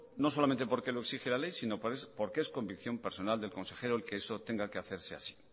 no solamente porque lo exige la ley sino porque es convicción personal del consejero el que eso tenga que hacerse así